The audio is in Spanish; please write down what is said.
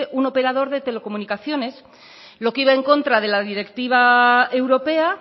un operador de telecomunicación lo que iba en contra de la directiva europea